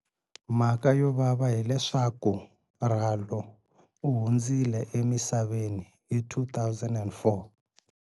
Mhaka yovava hileswaku Ralo u hundzile emisaveni hi 2004.